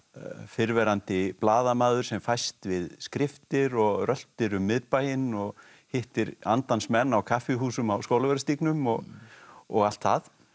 fyrrverandi blaðamaður sem fæst við skriftir og röltir um miðbæinn og hittir andans menn á kaffihúsum á Skólavörðustígnum og og allt það